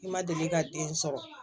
I ma deli ka den sɔrɔ